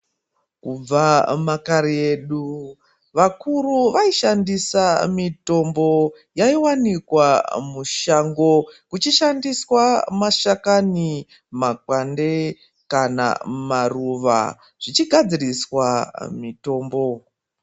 Kubva makare edu, vakuru vaishandisa mitombo yaiwanikwa mushango, kuchishandiswa mashakani, makwande kana maruva zvichigadziriswa mitombo.